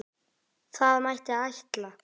Það mætti ætla.